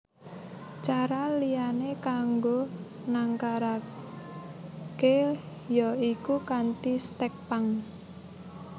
Cara liyané kanggo nangkaraké ya iku kanthi stèk pang